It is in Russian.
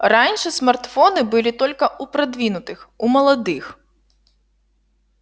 раньше смартфоны были только у продвинутых у молодых